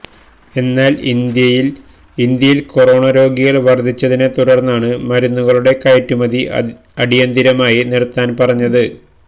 എന്നാല് ഇന്ത്യയില് ഇന്ത്യയില് കൊറോണ രോഗികള് വര്ദ്ധിച്ചതിനെ തുടര്ന്നാണ് മരുന്നുകളുടെ കയറ്റുമതി അടിയന്തിരമായി നിര്ത്താന് പറഞ്ഞത്